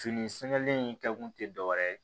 Fini sɛgɛnlen in kɛkun tɛ dɔwɛrɛ ye